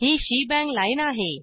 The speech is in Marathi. ही शेबांग लाईन आहे